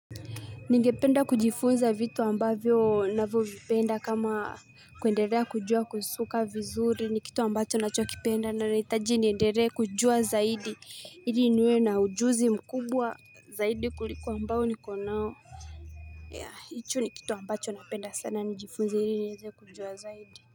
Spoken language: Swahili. Ningependa kujifunza vitu ambavyo navyo vipenda kama kuendelea kujua kusuka vizuri ni kitu ambacho ninacho kipenda na nitaji niendere kujua zaidi ili niwe na ujuzi mkubwa zaidi kuliko ambao niko nao ya hicho ni kitu ambacho napenda sana nijifunze ili niweze kujua zaidi.